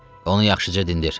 Onu yaxşıca dindir.